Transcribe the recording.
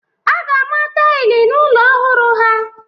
A ga-ama taịlị n'ụlọ ọhụrụ ha.